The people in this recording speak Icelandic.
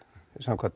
samkvæmt